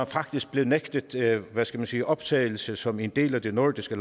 faktisk blev nægtet hvad skal man sige optagelse som en del af de nordiske